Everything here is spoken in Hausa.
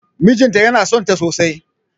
Mijinta yana sonta sosai